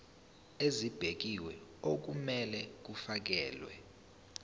ezibekiwe okumele kufakelwe